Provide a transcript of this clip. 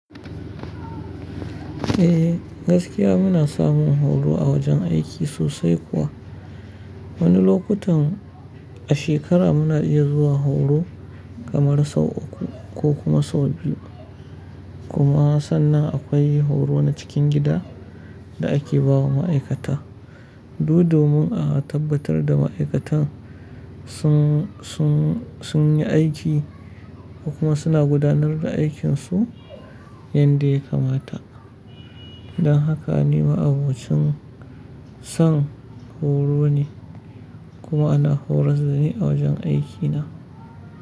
Eh gaskiya muna samun horo a wajen aiki sosai kuwa. Wani lokutan a shekara mu na iya zuwa horo kamar sau uku ko kuma sau biyu. Kuma sannan akwai horo na cikin gida da ake bawa ma'aikata. Du domin a tabbatar da ma'aikatan sun, sun, sun yi aiki kuma suna gudanar da aikin su yanda ya kamata. Dan haka ni ma'abocin san horo ne. Kuma ana horas da ni a wajen aiki na.